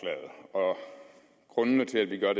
herre ole